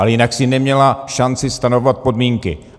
Ale jinak si neměla šanci stanovovat podmínky.